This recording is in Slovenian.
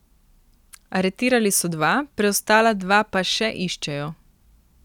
Aretirali so dva, preostala dva pa še iščejo.